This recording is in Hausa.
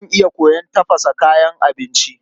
Zan iya koyon tafasa kayan abinci.